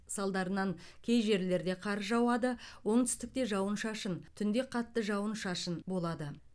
салдарынан кей жерлерде қар жауады оңтүстікте жауын шашын түнде қатты жауын шашын болады